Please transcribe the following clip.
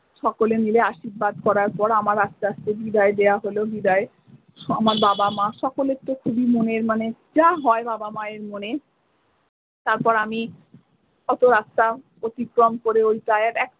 সকলে মিলে আশীর্বাদ করার পর আমার আস্তে আস্তে বিদায় দেওয়া হলো বিদায় আমার বাবা মা সকলের তো খুবই মনের মানে যা হয় বাবা মায়ের মনে তারপর আমি অতো রাস্তা অতিক্রম করে ।